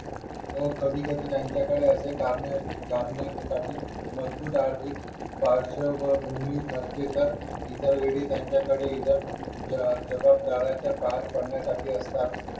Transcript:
हो कधी कधी त्यांच्याकडे असे कारणे असू शकतात नसते तर इतर वेळी त्यांच्याकडे जगतभरासाठी कार्य करण्यासाठी असतात